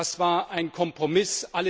Das war ein Kompromiss.